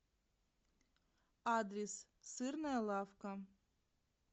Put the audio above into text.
адрес сырная лавка